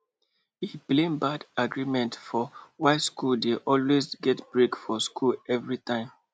e blame bad agreements for why school dey always get break for school everytime